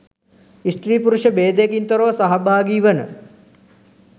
ස්ත්‍රී පුරුෂ භේදයකින් තොරව සහභාගී වන